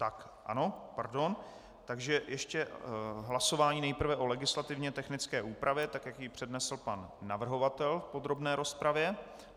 Tak ano, pardon, takže ještě hlasování nejprve o legislativně technické úprava, tak jak ji přednesl pan navrhovatel v podrobné rozpravě.